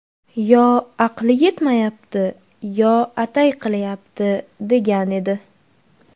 Yo aqli yetmayapti, yo atay qilyapti”, degan edi.